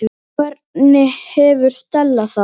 Hvernig hefur Stella það?